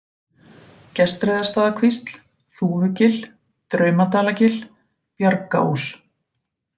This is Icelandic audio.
Gestreiðarstaðakvísl, Þúfugil, Draumadalagil, Bjargaós